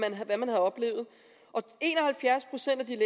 hvad man havde oplevet og en og halvfjerds procent af de